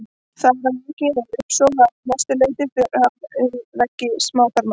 Þar að auki fer uppsog að mestu leyti fram um veggi smáþarma.